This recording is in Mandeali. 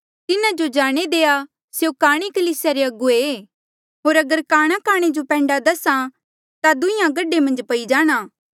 तिन्हा जो जाणे देआ स्यों काणे कलीसिया रे अगुवे ऐ होर अगर काणा काणे जो पैंडा दसे ता दुहिंआं गढे मन्झ पई जाणा